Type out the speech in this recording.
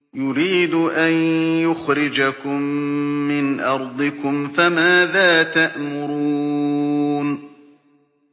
يُرِيدُ أَن يُخْرِجَكُم مِّنْ أَرْضِكُمْ ۖ فَمَاذَا تَأْمُرُونَ